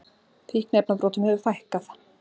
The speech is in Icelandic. Fíkniefnabrotum hefur fækkað